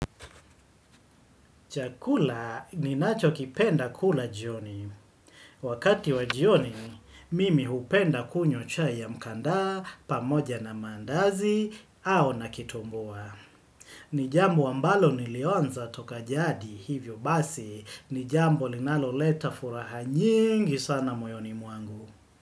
Chakula ninacho kipenda kula jioni. Wakati wa jioni, mimi hupenda kunywa chai ya mkandaa, pamoja na maandazi, au na kitumbua. Nijambo ambalo nilionza toka jadi, hivyo basi, nijambo linalo leta furaha nyingi sana moyoni mwangu.